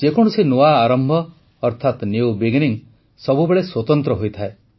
ଯେକୌଣସି ନୂଆ ଆରମ୍ଭ ଅର୍ଥାତ ନ୍ୟୁ ବିଗିନିଂ ସବୁବେଳେ ସ୍ୱତନ୍ତ୍ର ହୋଇଥାଏ